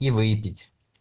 и выпить